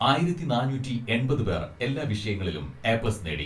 ആയിരത്തി നാനൂറ്റി എൺപത് പേർ എല്ലാ വിഷയങ്ങളിലും എ പ്ലസ് നേടി.